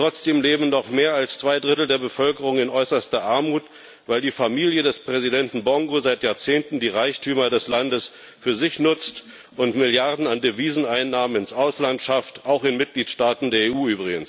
Trotzdem leben mehr als zwei Drittel der Bevölkerung noch in äußerster Armut, weil die Familie des Präsidenten Bongo seit Jahrzehnten die Reichtümer des Landes für sich nutzt und Milliarden an Deviseneinnahmen ins Ausland schafft, übrigens auch in Mitgliedstaaten der EU.